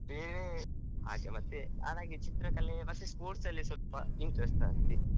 ಬೇರೆ ಹಾಗೆ ಮತ್ತೆ ಚಿತ್ರಕಲೆ sports ಅಲ್ಲಿ ಸ್ವಲ್ಪ interest .